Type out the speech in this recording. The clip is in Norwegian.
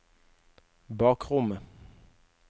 bakrommet